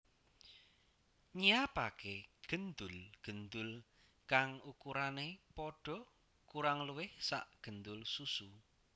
Nyiapaké gendul gendul kang ukurané pada kurang luwih sakgendul susu